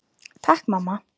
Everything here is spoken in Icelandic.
Takk mamma!